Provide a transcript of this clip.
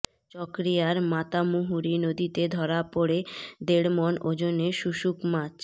চকরিয়ার মাতামুহুরি নদীতে ধরা পড়ে দেড়মন ওজনের শুশুক মাছ